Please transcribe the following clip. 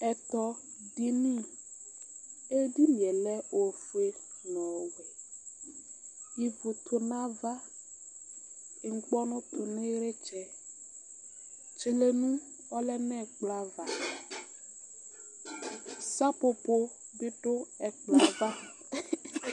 Ɛtɔdini dinie lɛ ofue nʋ ɔwɛ ivʋ tʋnʋ ava ŋkpɔnʋ tʋ nʋ ilitsɛ tdilenʋ ɔlɛ nʋ ɛkplɔ ava sepopo bi dʋ ɛkplɔɛ ava